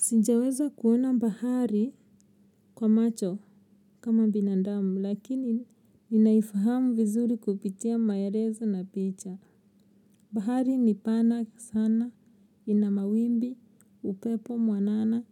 Sinjaweza kuona bahari kwa macho kama binandamu lakini ninaifahamu vizuri kupitia maerezo na picha. Bahari ni pana sana ina mawimbi upepo mwanana